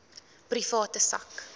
private sak